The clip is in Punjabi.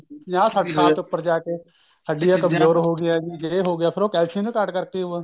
ਪੰਜਾਹ ਸੱਠ ਸਾਲ ਤੋਂ ਉੱਪਰ ਜਾ ਕੇ ਹੱਡੀਆਂ ਕਮਜੋਰ ਹੋ ਗਈਆਂ ਜੀ ਏ ਹੋ ਗਿਆ ਫੇਰ ਉਹ calcium ਦੀ ਘਾਟ ਕਰਕੇ ਹੀ ਓ ਐ